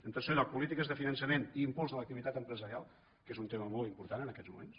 en tercer lloc polítiques de finançament i impuls de l’activitat empresarial que és un tema molt important en aquests moments